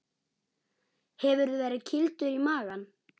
Hefurðu verið kýldur í magann?